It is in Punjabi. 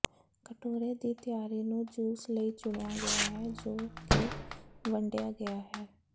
ਕਟੋਰੇ ਦੀ ਤਿਆਰੀ ਨੂੰ ਜੂਸ ਲਈ ਚੁਣਿਆ ਗਿਆ ਹੈ ਜੋ ਕਿ ਵੰਡਿਆ ਗਿਆ ਹੈ